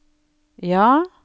ja